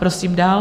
Prosím dál.